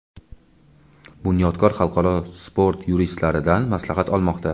"Bunyodkor" xalqaro sport yuristlaridan maslahat olmoqda.